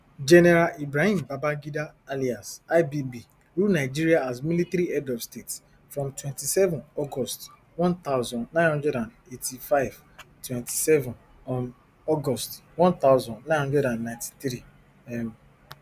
general ibrahim babangida alias ibb rule nigeria as military head of state from twenty-seven august one thousand, nine hundred and eighty-five twenty-seven um august one thousand, nine hundred and ninety-three um